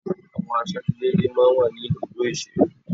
Àwọn asojúlóge máa ń wà ní ibùdó ìṣeré.